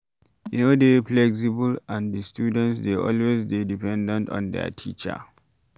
E no dey flexible and di students dey always dey dependent on their teacher